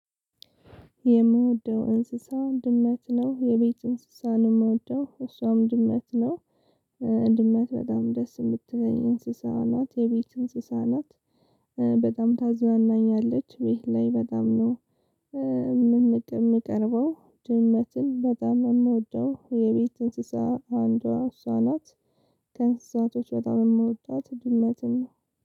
የምወደው እንስሳ ድመት ነው። የቤት እንስሳ ነው የምወደው፣ እሷም ድመት ነው፣ ድመት በጣም ደስ የምትለኝ እንስሳ ናት፣ የቤት እንስሳ ናት፣ በጣም ታዛናኛለች ቤት ላይ በጣም ነው። የምንቅ የምቀርበው ድመትን በጣም የምወደው የቤት እንስሳ አንዷ እሷ ናት፣ ከእንስሳቶች በጣም የምወዳት ድመትን